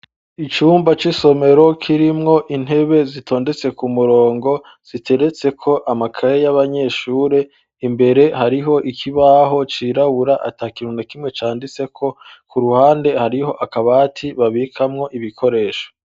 Icumba c'isomero kirimwo intebe zitondetse ku murongo ziteretse ko amakaye yaba nyeshuri imbere hariho ikibaho cirabura ata kintu na kimwe canditse ko ku ruhande hariho akabati babikamwo ibikoresho.